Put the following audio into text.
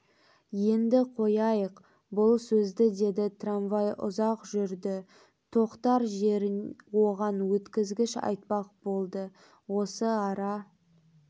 енді қояйық бұл сөзді деді трамвай ұзақ жүрді тоқтар жерін оған өткізгіш айтпақ болды осы ара